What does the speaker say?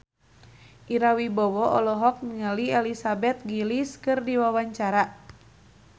Ira Wibowo olohok ningali Elizabeth Gillies keur diwawancara